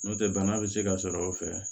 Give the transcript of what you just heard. N'o tɛ bana bɛ se ka sɔrɔ o fɛ